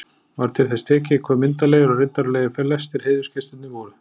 Var til þess tekið, hve myndarlegir og riddaralegir flestir heiðursgestirnir voru.